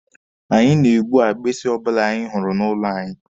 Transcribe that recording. Anyị na-egbu agbisi ọbụla anyị hụrụ n'ụlọ anyị